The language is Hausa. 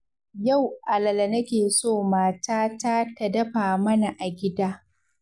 Yau alala nake so matata ta dafa mana a gida.